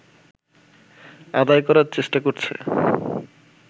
আদায় করার চেষ্টা করছে